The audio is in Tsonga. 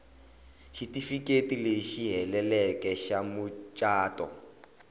xitifiketi lexi heleleke xa mucato